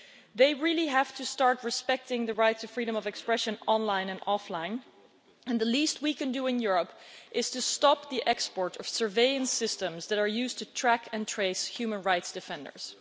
They really have to start respecting the rights of freedom of expression, online and offline, and the least we can do in Europe is to stop the export of surveillance systems that are used to track and trace human rights defenders.